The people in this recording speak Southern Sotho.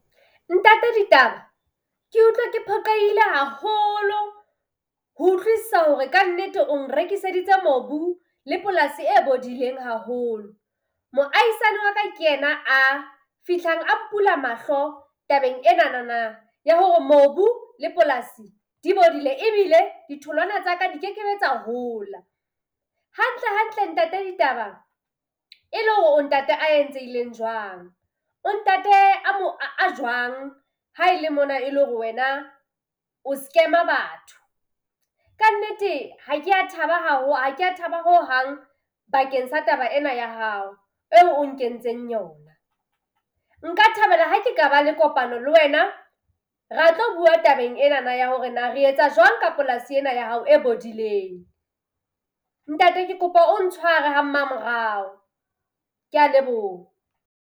Ntate Ditaba ke utlwa ke phoqehile hahoolo ho utlwisisa hore kannete o nrekiseditse mobu le polasi e bodileng haholo. Moahisane wa ka ke ena a fihlang a mpula mahlo tabeng enanana ya hore mobu le polasi di bodile ebile ditholwana tsa ka di ke ke be tsa hola. Hantle hantle Ntate Ditaba e le hore o ntate a entsehileng jwang? O ntate a jwang ha e le mona e le hore wena o scam-a batho. Kannete, ha kea thaba ha kea thaba hohang bakeng sa taba ena ya hao eo o nkentseng yona. Nka thabela ha ke ka ba le kopano le wena ra tlo bua tabeng enana ya hore na re etsa jwalo ka polasi ena ya hao e bodileng. Ntate, ke kopa o ntshware ha mmamorao. Kea leboha.